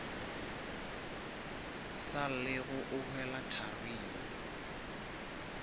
sa llego o hwela tharing